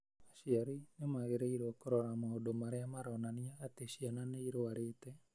Aciari nĩ magĩrĩirũo kũrora maũndũ marĩa maronania atĩ ciana nĩ irũarĩte